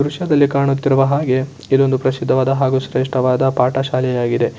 ದೃಶ್ಯದಲ್ಲಿ ಕಾಣುತ್ತಿರುವ ಹಾಗೆ ಇದು ಒಂದು ಪ್ರಸಿದ್ಧವಾದ ಹಾಗೂ ಶ್ರೇಷ್ಠವಾದ ಪಾಠಶಾಲೆ ಆಗಿದೆ